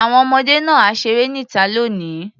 Àwọn ọmọdé náà á ṣeré níta lónìí.